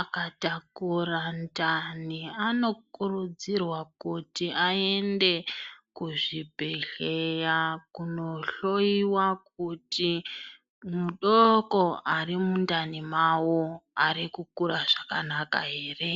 anotakura ndani anokurudzirwa kuti aende kuzvibhedhleya kunohloiwa kuti mudoko ari mundani nawo kuti ari kukura zvakanaka ere.